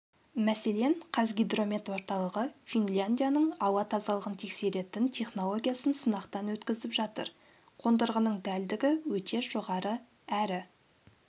мәселен қазгидромет орталығы финляндияның ауа тазалығын тексеретін технологиясын сынақтан өткізіп жатыр қондырғының дәлдігі өте жоғары әрі